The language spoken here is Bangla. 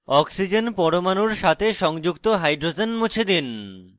oxygen পরমাণুর সাথে সংযুক্ত hydrogens মুছে দিন